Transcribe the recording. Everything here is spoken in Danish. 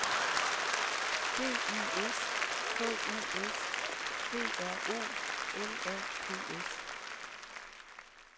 D I S K U S P R O L A P S